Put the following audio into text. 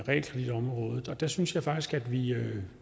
realkreditområdet og der synes jeg faktisk at vi at